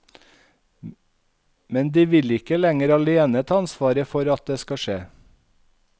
Men de vil ikke lenger alene ta ansvaret for at det skal skje.